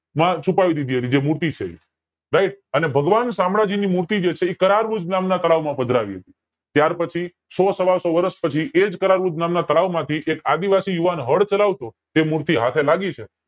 છુપાવી દીધી જે મૂર્તિ છે એ right અને ભગવાન સામ્રાજ્ય ની મૂર્તિ જે છે એ કરાવજ્ર નામ ના તળાવ માં પધરાવી હતી ત્યાર પછી સો સવા સો વર્ષ પછી એજ કરાવજ નામ ના તળાવ માંથી એક આદિવાસી યુવાન હળ ચલાવતો તે મૂર્તિ હાથે લાગી છે